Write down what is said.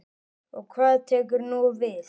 Og hvað tekur nú við?